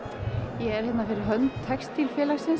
ég er hérna fyrir hönd